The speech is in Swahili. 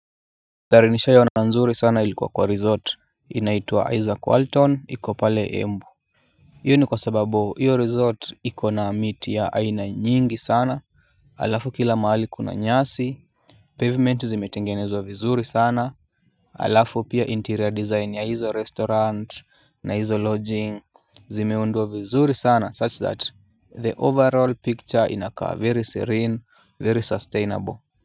Thari nishai ona nzuri sana ilikuwa kwa resort inaitua Isaac Walton iko pale embu iyo ni kwa sababu hiyo resort ikona miti ya aina nyingi sana. Alafu kila maali kuna nyasi pavement zimetengenezwa vizuri sana. Alafu pia interior design ya hizo restaurant na hizo lodging. Zimeundua vizuri sana such that the overall picture inakaa very serene very sustainable.